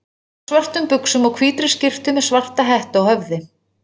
Hann var á svörtum buxum og hvítri skyrtu með svarta hettu á höfði.